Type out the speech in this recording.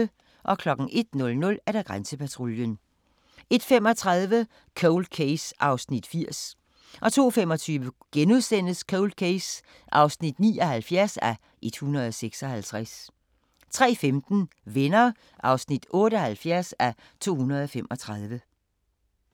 01:00: Grænsepatruljen 01:35: Cold Case (80:156) 02:25: Cold Case (79:156)* 03:15: Venner (78:235)